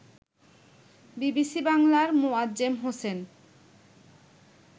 BBC বাংলার মোয়াজ্জেম হোসেন